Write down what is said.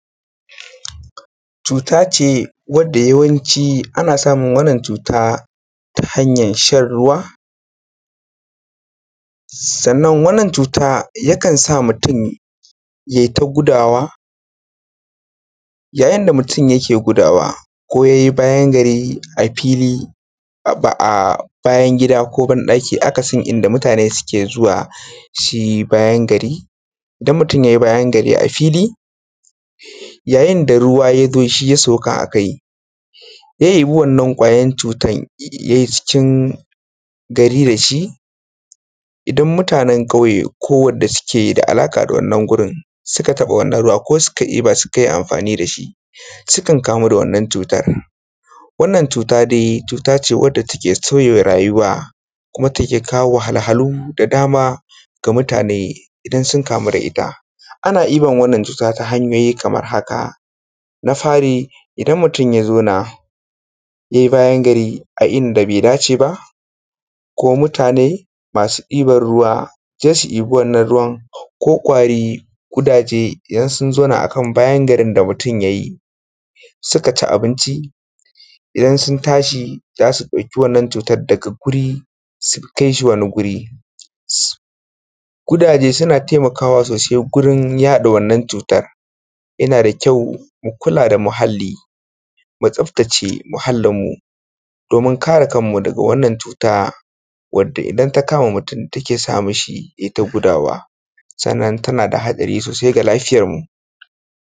Cutace wadda yawanci ana samun wannan cuta ta hanyan shan ruwa, sannan wannan cuta yakan sa mutum yeta gudawa. Ya yin da mutum yake gudawa ko ye bayan gari a fili, a ba a bayan gida, ko ban ɗaki akasin inda mutane suke zuwa suyi bayan gari. Idan mutum ye bayan gari a fili ya yin da ruwa ya zo shi ya sauka a kai, ya ɗebi wannan kwayan cutan ye cikin gari dashi, idan mutanen ƙauye ko wadda suke da alaƙa da wannan wurin suka taɓa wannan ruwa ko suka ɗeba sukai amfani dashi sukan kamu da wannan cutar. Wannan cutan dai, cuta ce wadda take sauya rayuwa kuma take kawo wahalhalu da dama ga mutane idan sun kamu da ita. Ana ɗiban wannan cuta ta hanyoyi da dama kamar haka: Na fari idan mutum ya zauna ye bayan gari a inda bai dace ba ko mutane musu ɗiban ruwa se su ɗibi wannan ruwan, ko kwari, gudaje idan sun zauna akan bayan garin da mutum ya yi suka ci abinci idan sun tashi za su ɗauki wannan cutar daga guri sukai shi wani guri, su. Kudaje suna taimakawa sosai wurin yada wannan cutan. Yana da kyau mu kula da muhali, mu tsaftace muhalinmu domin kare kanmu daga wannan cuta, wadda idan ta kama mutum takan sa mishi yeta gudawa, sannan tana da haɗari sosai ga lafiyanmu.